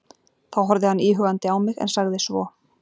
Þá horfði hann íhugandi á mig, en sagði svo